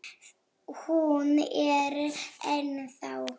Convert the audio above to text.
Hún er ennþá.